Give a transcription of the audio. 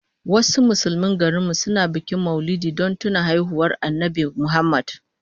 Wasu Musulmin garin mu suna bikin Maulidi don tuna haihuwar Annabi Muhammad